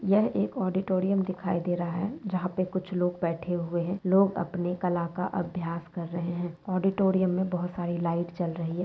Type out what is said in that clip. यह एक ऑडिटोरियम दिखाई दे रहा है। जहां पे कुछ लोग बैठे हुए हैं लोग अपने कल का अभ्यास कर रहे हैं। ऑडिटोरियम में बहुत सारी लाइट जल रहि है।